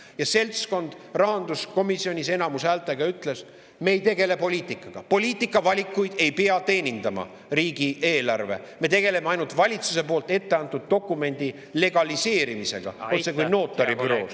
Ja seltskond rahanduskomisjonis häälteenamusega nad ei tegele poliitikaga, riigieelarve ei pea teenindama poliitikavalikuid, nad tegelevad ainult valitsuse poolt etteantud dokumendi legaliseerimisega, otsekui notaribüroos …